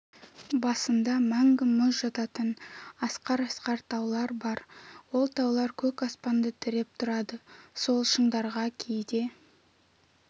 басында мәңгі мұз жататын асқар-асқар таулар бар ол таулар көк аспанды тіреп тұрады сол шыңдарға кейде